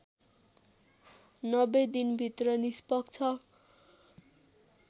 ९० दिनभित्र निष्पक्ष